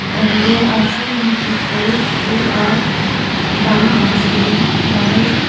and there are so many peoples who are buying and selling flowers.